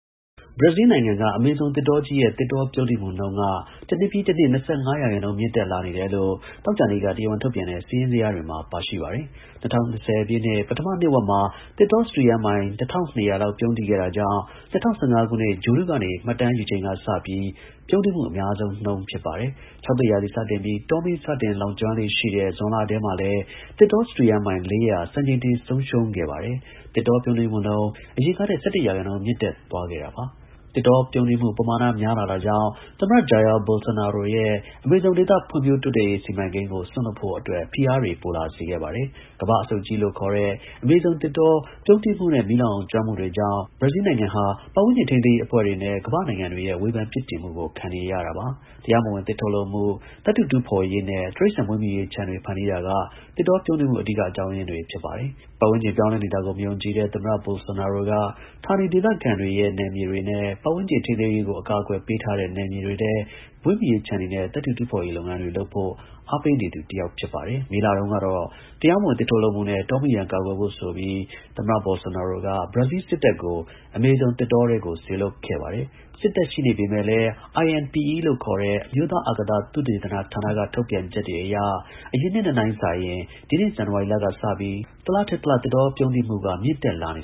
ဘရာဇီးလ်နိုင်ငံက အမေဇုံ သစ်တောကြီးရဲ့ သစ်တောပြုန်းတီးမှုနှုန်းက တစ်နှစ်ပြီးတစ်နှစ် ၂၅ ရာခိုင်နှုန်း မြင့်တက်လာနေ တယ်လို့ သောကြာနေ့က တရားဝင် ထုတ်ပြန်တဲ့ စာရင်းဇယားတွေမှာ ပါရှိပါတယ်။ ၂၀၂၀ ပြည့်နှစ် ပထမ နှစ်ဝက်မှာ သစ်တော စတုရန်း မိုင် ၁၂၀၀ လောက် ပြုန်းတီးခဲ့တာကြောင့် ၂၀၁၅ ခုနှစ် ဂြိုလ်တုကနေ မှတ်တမ်းယူချိန်က စပြီး ပြုန်းတီးမှု အများဆုံးနှုန်း ဖြစ်ပါတယ်။ ခြောက်သွေ့ရာသီစတင်ပြီး တောမီး စတင်လောင်ကျွမ်းလေ့ရှိတဲ့ ဇွန်လထဲမှာလည်း သစ်တော စတုရန်းမိုင် ၄၀၀ စံချိန်တင် ဆုံးရှုံးခဲ့ ပါတယ်။ သစ်တောပြုန်းတီးမှုနှုန်း အရင်ကထက် ၁၁ ရာခိုင်နှုန်း မြင့်တက်သွားခဲ့တာပါ။ သစ်တောပြုန်းတီးမှု ပမာဏ များတာကြောင့် သမ္မတ Jair Bolsonaro ရဲ့ အမေဇုံဒေသ ဖွံ့ဖြိုးတိုးတက်ရေး စီမံကိန်းကို စွန့်လွှတ် ဖို့ အတွက် ဖိအားတွေ ပိုလာ စေခဲ့ပါတယ်။ ကမ္ဘာ့အဆုတ်ကြီးလို့ ခေါ်တဲ့ အမေဇုံသစ်တောပြုန်းတီးမှုနဲ့ မီးလောင်ကျွမ်းမှုတွေကြောင့် ဘရာဇီးလ်နိုင်ငံဟာ ပတ်ဝန်းကျင် ထိန်းသိမ်း ရေး အဖွဲ့တွေနဲ့ ကမ္ဘာ့နိုင်ငံတွေရဲ့ ဝေဖန်ပြစ်တင်မှုကို ခံနေရပါတယ်။ တရားမဝင် သစ်ထုတ်လုပ်မှု၊ သတ္တု တူးဖော်ရေးနဲ့ တိရစ္ဆာန် မွေးမြူရေး ခြံတွေ ဖန်တီးတာက သစ်တော ပြုန်းတီးမှု အဓိက အကြောင်းရင်းတွေ ဖြစ်ပါတယ်။ ပတ်ဝန်းကျင် ပြောင်းလဲနေတာကို မယုံကြည်တဲ့ ဘရာဇီးလ်း သမ္မတ Bolsonaro က ဌာနဒေသခံတွေရဲ့ နယ်မြေတွေနဲ့ ပတ်ဝန်း ကျင်ထိန်းသိမ်းဖို့ အကာအကွယ်ပေးထားတဲ့ နယ်မြေတွေထဲ မွေးမြူရေး ခြံတွေနဲ့ သတ္တု တူးဖော်ရေး လုပ်ငန်းတွေ လုပ်ဖို့ အား ပေးနေ သူ တစ်ယောက် ဖြစ်ပါတယ်။ မေလတုန်းကတော့ တရားမဝင် သစ်ထုတ်လုပ်မှုနဲ့ တောမီးရန် ကာကွယ်ဖို့ ဆိုပြီး သမ္မတ Bolsonaro က ဘရာဇီးလ် စစ်တပ်ကို အမေဇုံ သစ်တောထဲကို စေလွှတ်ခဲ့ပါတယ်။ စစ်တပ်ရှိနေပေမဲ့ INPE လို့ အမျိုးသား အာကာသ သုတေသန ဌာနက ထုတ်ပြန်ချက်တွေအရ အရင်နှစ်နဲ့ နှိုင်းစာရင် ဒီနှစ် ဇန်နဝါရီလက စပြီး တလထက် တလ သစ်တော ပြုန်းတီးမှုနှုန်းက မြင့်တက်လာနေ